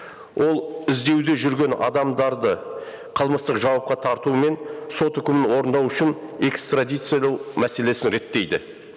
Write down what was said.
ол іздеуде жүрген адамдарды қылмыстық жауапқа тарту мен сот үкімін орындау үшін экстрадициялау мәселесін реттейді